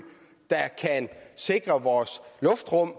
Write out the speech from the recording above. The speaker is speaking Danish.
sikre vores luftrum